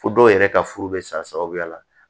Fo dɔw yɛrɛ ka furu bɛ sagoya la